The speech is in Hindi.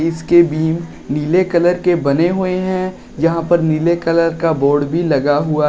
इसके बीम नीले कलर के बने हुए है यहां पर नीले कलर का बोर्ड भी लगा हुआ--